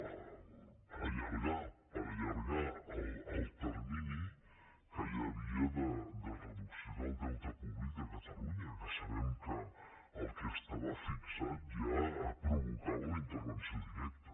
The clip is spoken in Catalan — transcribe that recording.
per allargar per allargar el termini que hi havia de reducció del deute públic de catalunya que sabem que el que estava fixat ja provocava la intervenció directa